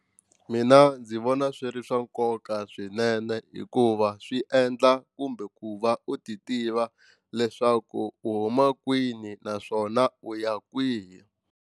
Mina ndzi vona swi ri swa nkoka swinene hikuva swi endla kumbe ku va u ti tiva leswaku u huma kwini naswona u ya kwihi.